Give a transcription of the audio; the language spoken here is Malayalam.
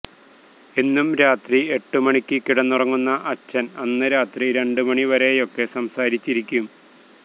എന്നും രാത്രി എട്ട് മണിക്ക് കിടന്നുറങ്ങുന്ന അച്ഛന് അന്ന് രാത്രി രണ്ട് മണിവരെയൊക്കെ സംസാരിച്ചിരിക്കും